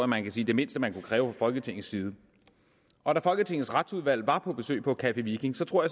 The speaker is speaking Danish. man kan sige det mindste man kunne kræve fra folketingets side og da folketingets retsudvalg var på besøg på café viking tror